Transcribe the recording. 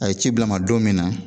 A ye ci bila n ma don min na,